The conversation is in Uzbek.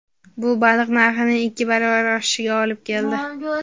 Bu baliq narxining ikki baravar oshishiga olib keldi.